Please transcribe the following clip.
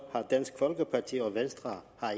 har dansk folkeparti og venstre